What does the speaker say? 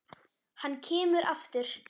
Hann kemur aftur.